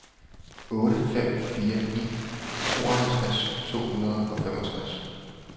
otte fem fire ni tooghalvtreds to hundrede og femogtres